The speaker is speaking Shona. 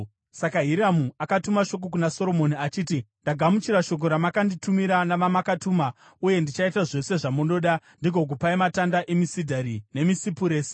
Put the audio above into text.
Saka Hiramu akatuma shoko kuna Soromoni achiti: “Ndagamuchira shoko ramanditumira navamakatuma uye ndichaita zvose zvamunoda ndigokupai matanda emisidhari nemisipuresi.